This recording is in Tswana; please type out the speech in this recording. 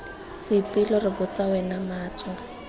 boipelo re botsa wena matso